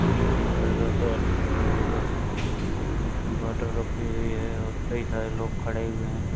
शिने burger corner खुला हुआ है। और उसमे बोटल रखी हुई है और कई सारे लोग खड़े हुए हैं।